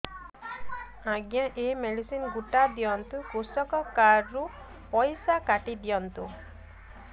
ଆଜ୍ଞା ଏ ମେଡିସିନ ଗୁଡା ଦିଅନ୍ତୁ କୃଷକ କାର୍ଡ ରୁ ପଇସା କାଟିଦିଅନ୍ତୁ